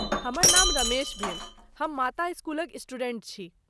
हमर नाम रमेश भेल, हम माता स्कूलक स्टूडेंट छी।